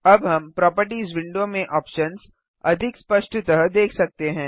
अब हम properties window में ऑप्शन्स अधिक स्पष्टतः देख सकते हैं